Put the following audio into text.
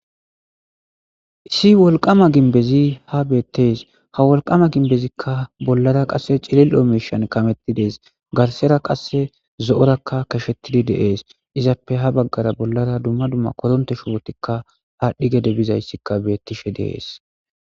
Issi wolqama ginbezi ha beettes ha wolqama gimbezikka bollara qasse cilil'o meshan kamettidees garsera qasse zo'orakka kashettidi dees izappe ha baggara bollara dumma dumma koronte shuwotikka aadhdhi gede bizayssikka beettishe dees.